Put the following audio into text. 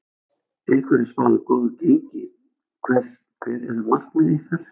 Ykkur er spáð góðu gengi, hver eru markmið ykkar?